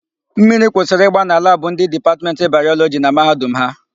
Mmiri kwụsịrị ịgba na labụ ndị Dipatmentị Bayọlọjị na Mahadum ha.